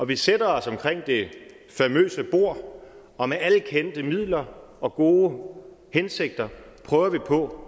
vi sætter os omkring det famøse bord og med alle kendte midler og gode hensigter prøver vi på